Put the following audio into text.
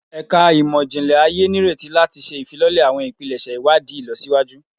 Ẹka Imọ-jinlẹ Aye nireti lati ṣe ifilọlẹ awọn ipilẹṣẹ iwadii ilọsiwaju